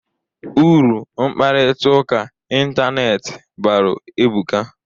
Uru mkparịta ụka ịntanetị balụ ebuka.